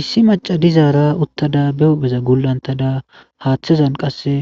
issi maca dizaara uttada be hupheza gullantada haaththezan qasse